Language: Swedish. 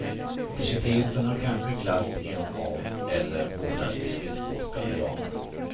Publiciteten har kanske glatt en av eller båda de skridskoåkande damerna.